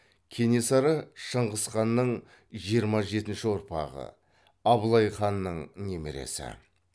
кенесары шыңғыс ханның жиырма жетінші ұрпағы абылай ханның немересі